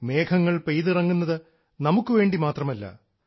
മേഘങ്ങൾ പെയ്തിറങ്ങുന്നത് നമുക്ക് വേണ്ടി മാത്രമല്ല